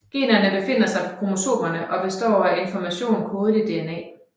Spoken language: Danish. Generne befinder sig på kromosomerne og består af information kodet i DNA